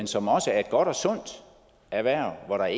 som også er et godt og sundt erhverv hvor der